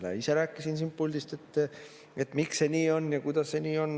Ise rääkisin siit puldist, miks see nii on ja kuidas see nii on.